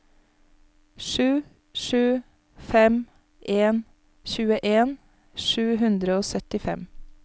sju sju fem en tjueen sju hundre og syttifem